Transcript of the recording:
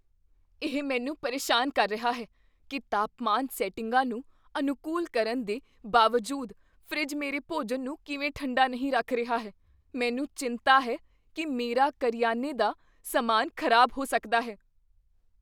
ਇਹ ਮੈਨੂੰ ਪਰੇਸ਼ਾਨ ਕਰ ਰਿਹਾ ਹੈ ਕੀ ਤਾਪਮਾਨ ਸੈਟਿੰਗਾਂ ਨੂੰ ਅਨੁਕੂਲ ਕਰਨ ਦੇ ਬਾਵਜੂਦ ਫਰਿੱਜ ਮੇਰੇ ਭੋਜਨ ਨੂੰ ਕਿਵੇਂ ਠੰਡਾ ਨਹੀਂ ਰੱਖ ਰਿਹਾ ਹੈ ਮੈਨੂੰ ਚਿੰਤਾ ਹੈ ਕੀ ਮੇਰਾ ਕਰਿਆਨੇ ਦਾ ਸਮਾਨ ਖ਼ਰਾਬ ਹੋ ਸਕਦਾ ਹੈ